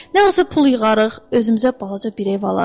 Nə isə pul yığarıq, özümüzə balaca bir ev alarıq.